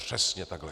Přesně takhle.